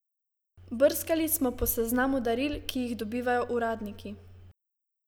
Brskali smo po seznamu daril, ki jih dobivajo uradniki.